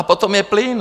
A potom je plyn.